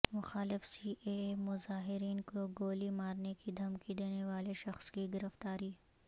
مخالف C A A مظاہرین کو گولی مارنے کی دھمکی دینے والے شخص کی گرفتاری